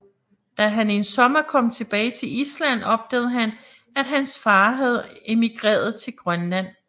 Da han en sommer kom tilbage til Island opdagede han at hans far havde emigreret til Grønland